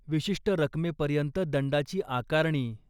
विशिष्ट रकमेपर्यंत दंडाची आकारणी.